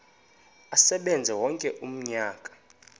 asebenze wonke umnyaka